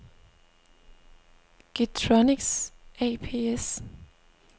Getronics ApS